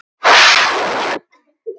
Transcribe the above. Málið vakti strax mikla reiði.